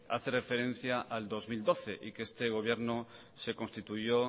hace referencia al dos mil doce y que este gobierno se constituyó